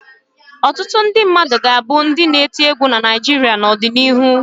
Ọtụtụ ndị mmadụ ga-abụ ndị na-eti egwu na Naịjirịa n'ọdịnihu.